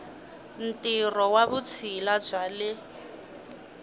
ntirho wa vutshila bya le